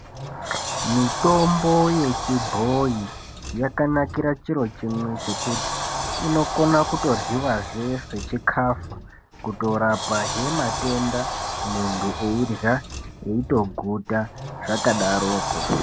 Mitombo yechibhoyi yakanakira chiro chimwe chekuti inokona kutoryiwa zve sechikafu kutorapa he matenda muntu eirya eitoguta zvakadaro ko.